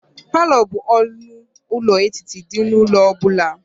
Palọ bụ ọnụ ụlọ etiti dị n'ụlọ ọ bụla.